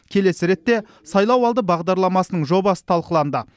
келесі ретте сайлауалды бағдарламасының жобасы талқыланды